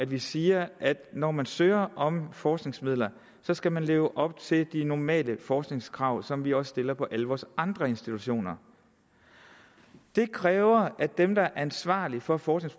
vi siger at når man søger om forskningsmidler skal man leve op til de normale forskningskrav som vi også stiller på alle vores andre institutioner det kræver at dem der er ansvarlige for for